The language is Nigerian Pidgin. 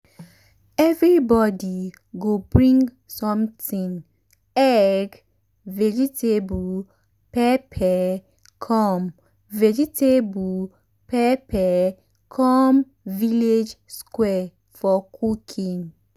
everybody go bring something egg vegetable pepper come vegetable pepper come village square for cooking.